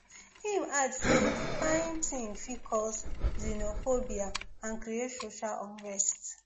im add say dis kain tin fit cause xenophobia and create social unrest